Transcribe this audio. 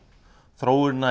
þróunin